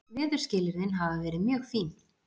Veðurskilyrðin hafa verið mjög fín